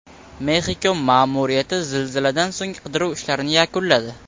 Mexiko ma’muriyati zilziladan so‘ng qidiruv ishlarini yakunladi.